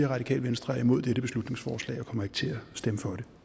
radikale venstre er imod dette beslutningsforslag og ikke kommer til at stemme for det